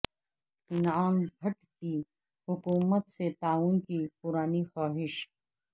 انعام بٹ کی حکومت سے تعاون کی پرانی خواہش